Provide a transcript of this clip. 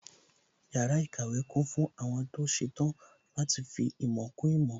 Yàrá ìkàwé kún fún àwọn tó ṣetán láti fi ìmọ̀ kún ìmọ̀